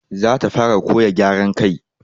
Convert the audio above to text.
Za ta fara koyan gyara kai.